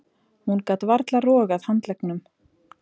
Hún gat varla rogað handleggnum.